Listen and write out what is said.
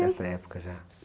Nessa época já?